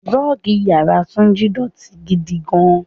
Rọ́ọ́gì ìyára Túnjí dọ̀tí gidi gan-an.